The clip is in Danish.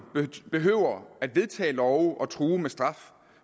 behøver at vedtage love og true med straf